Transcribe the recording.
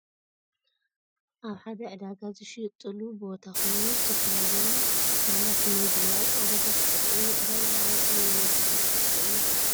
ኣብ ሓደ ዕዳጋ ዝሽየጠሉ ቦታ ኮይኑ፡ ዝተፈላለዩ ፍርያት መግቢ ኣብ ጣውላታት ይቐርቡ። እዚ ዕዳጋ ኣብ ኣየናይ ክፋል ኢትዮጵያ እዩ ዝርከብ?